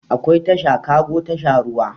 Akwai tasha kago tasha ruwa